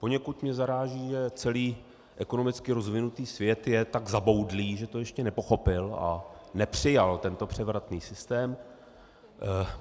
Poněkud mě zaráží, že celý ekonomicky rozvinutý svět je tak zaboudlý, že to ještě nepochopil a nepřijal tento převratný systém.